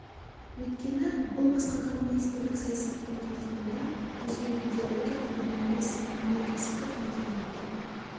өйткені бұл басқарған министрлік саясаттың толқынында жүзген идеологилық ұйым емес өнеркәсіптік мекеме